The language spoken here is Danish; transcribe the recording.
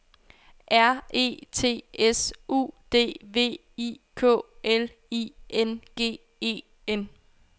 R E T S U D V I K L I N G E N